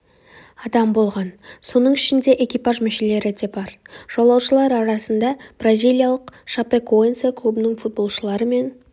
адам болған соның ішінде экипаж мүшелері де бар жолаушылар арасында бразилиялық шапекоэнсе клубының футболшылары мен